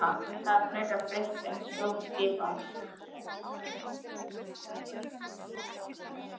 Það er fleira breytt en stjórnskipan.